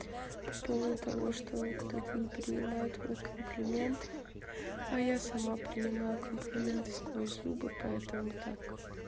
по поводу того что кто-то не принимает мой комплимент а я сама принимаю комплименты сквозь зубы поэтому так